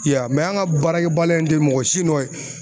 I y'a ye an ka baarakɛ baliya in tɛ mɔgɔ si nɔ ye.